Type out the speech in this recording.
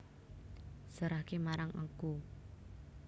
Serahke marang aku